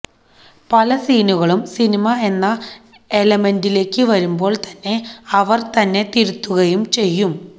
പല സീനുകളും സിനിമ എന്ന എലമെന്റിലേക്ക് വരുമ്പോള് തന്നെ അവര് തന്നെ തിരുത്തുകയും ചെയ്യും